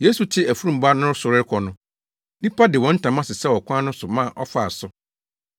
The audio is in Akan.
Yesu te afurum ba no so rekɔ no, nnipa de wɔn ntama sesɛw ɔkwan no so ma ɔfaa so.